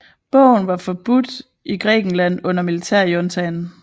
Bogen var forbudt i Grækenland under militærjuntaen